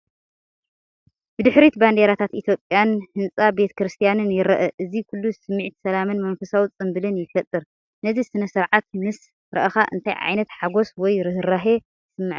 ብድሕሪት ባንዴራታት ኢትዮጵያን ህንጻ ቤተክርስትያንን ይርአ። እዚ ኩሉ ስምዒት ሰላምን መንፈሳዊ ጽምብልን ይፈጥር። ነዚ ስነ-ስርዓት ምስ ረኣኻ እንታይ ዓይነት ሓጎስ ወይ ርህራሄ ይስምዓካ?